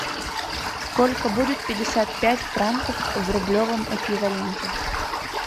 сколько будет пятьдесят пять франков в рублевом эквиваленте